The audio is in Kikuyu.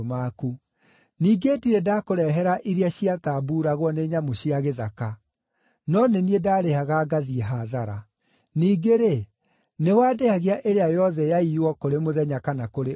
Ningĩ ndirĩ ndakũrehera iria ciatambuuragwo nĩ nyamũ cia gĩthaka; no nĩ niĩ ndaarĩhaga ngathiĩ hathara. Ningĩ-rĩ, nĩwandĩhagia ĩrĩa yothe yaiywo kũrĩ mũthenya kana kũrĩ ũtukũ.